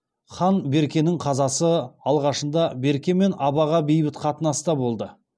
хан беркенің қазасы алғашында берке мен абаға бейбіт қатынаста болды